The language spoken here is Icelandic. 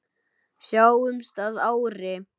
Sjáumst að ári.